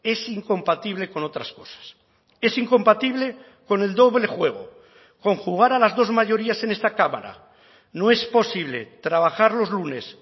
es incompatible con otras cosas es incompatible con el doble juego con jugar a las dos mayorías en esta cámara no es posible trabajar los lunes